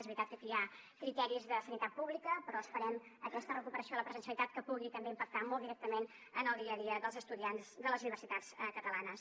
és veritat que aquí hi ha criteris de sanitat pública però esperem aquesta recuperació de la presencialitat que pugui també impactar molt directament en el dia a dia dels estudiants de les universitats catalanes